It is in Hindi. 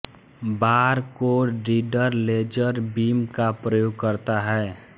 बार कोड रीडर लेजर बीम का प्रयोग करता है